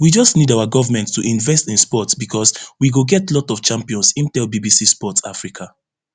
we just need our govment to invest in sport becos we go get lot of champions im tell bbc sport africa